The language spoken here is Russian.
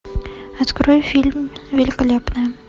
открой фильм великолепная